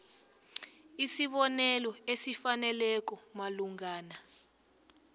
isibonelelo esifaneleko malungana